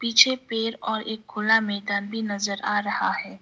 पीछे पेड़ और एक खुला मैदान भी नजर आ रहा है।